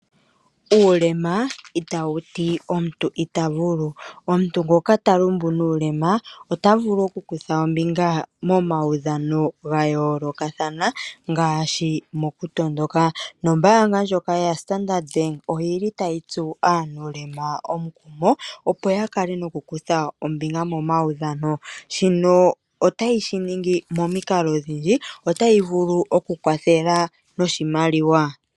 Uulema itawu ti omuntu ita vulu. Omuntu ngoka ta lumbu nuulema ota vulu okukutha ombinga momaudhano ga yoolokathana ngaashi mokutondoka. Nombaanga ndjoka yaStandard Bank oyi li tayi tsu aanuulema omukumo opo ya kale nokukutha ombinga momaudhano. Shino otayi shi ningi momikalo odhindji otayi vulu okukwathela noshimaliwa.